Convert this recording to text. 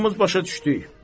Hamımız başa düşdük.